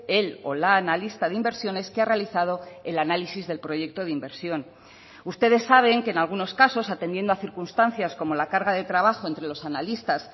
el o la analista de inversiones que ha realizado el análisis del proyecto de inversión ustedes saben que en algunos casos atendiendo a circunstancias como la carga de trabajo entre los analistas